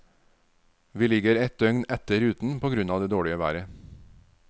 Vi ligger et døgn etter ruten på grunn av det dårlige været.